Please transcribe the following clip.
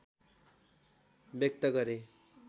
व्यक्त गरे